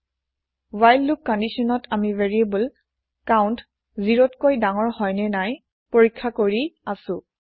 while loop কন্দিচ্যনত আমি variable count ০তকৈ ডাঙৰ হয়নে নাই পৰীক্ষা কৰি আছো